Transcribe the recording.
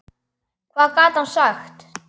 Hvað gat hann sagt?